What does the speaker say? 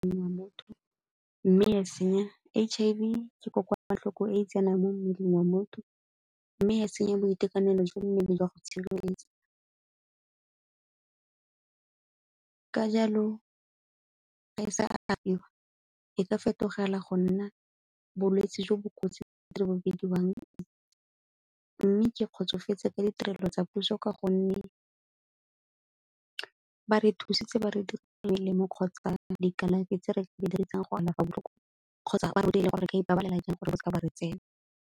motho mme e a senya. H_I_V ke kokoanatlhoko e e tsenang mo mmeleng wa motho, mme ga e senya boitekanelo jwa mmele jwa go tshireletsa ka jalo ga e sa e ka fetogela go nna bolwetsi jo bo kotsi mme ke kgotsofetse ka ditirelo tsa puso ka gonne ba re thusitse ba re melemo kgotsa dikalafi tse re kgotsa ba rutile gore ka ipabalela jang gore bo seke ba re tsena.